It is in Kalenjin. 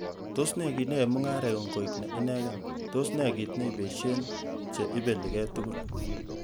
Tos nee kit neyoe mung'areng'ung koik ne inegen, tos nee kit neibeshen che ibelige tugul?